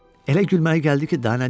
Elə gülməli gəldi ki, daha nə deyim?